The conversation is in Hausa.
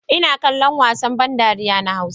Ina kallon wasan ban dariya na hausa.